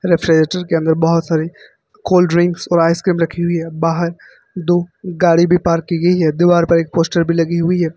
Refrigerator के अंदर बोहोत सारी कोल्ड ड्रिंक्स और आइसक्रीम रखी हुई है। बाहर दो गाड़ी भी पार्क की गई हैं। दीवार पर एक पोस्टर भी लगी हुई है।